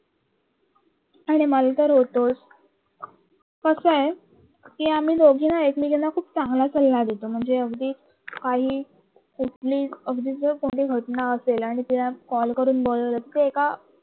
आणि मलातर होतो कसा आहे एकमेकींना खूप चांगला सल्ला देतो म्हणजे अगदी असेल आणि कॉल करून बोलावलं तर एका